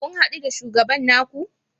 Kun hadu da shugaban ku?